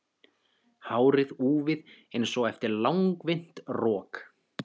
Hárið úfið einsog eftir langvinnt rok.